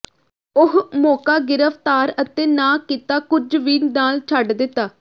ਉਹ ਮੌਕਾ ਗਿਰਫ਼ਤਾਰ ਅਤੇ ਨਾ ਕੀਤਾ ਕੁਝ ਵੀ ਨਾਲ ਛੱਡ ਦਿੱਤਾ